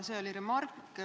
See oli remark.